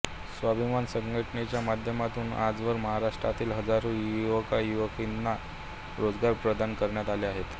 स्वाभिमान संघटनेच्या माध्यमातून आजवर महाराष्ट्रातील हजारो युवकयुवतींना रोजगार प्रदान करण्यात आले आहेत